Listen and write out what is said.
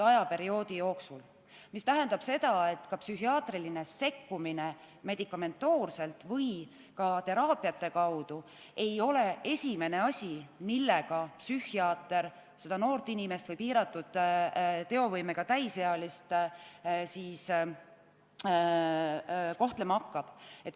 See tähendab, et psühhiaatriline sekkumine medikamentoosselt või teraapiate kaudu ei ole esimene asi, millega psühhiaater seda noort inimest või piiratud teovõimega täisealist kohtlema hakkab.